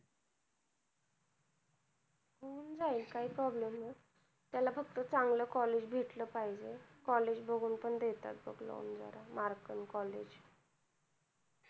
होऊन जाईल काही problem नाही त्याला फक्त चांगल college भेटल पाहिजे college बघुन पण देतात बघ loan जरा mark आणि college